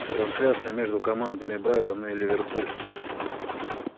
трансляция между командами брайтон и ливерпуль